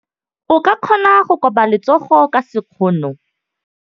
O ka kgona go koba letsogo ka sekgono.